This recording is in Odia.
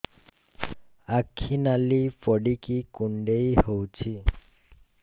ଆଖି ନାଲି ପଡିକି କୁଣ୍ଡେଇ ହଉଛି